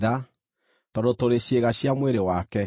Tondũ tũrĩ ciĩga cia mwĩrĩ wake.